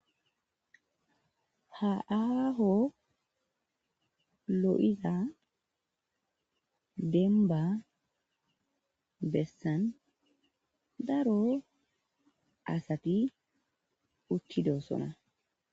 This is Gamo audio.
haaaho lo7iza denba bessan daro asati uttidosona